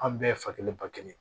An bɛɛ fa kelen ba kelen